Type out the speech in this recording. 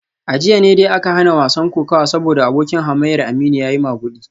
A jiya ne dai aka hana wasan kokawa saboda abokin hamayyar Aminu ya yi magudi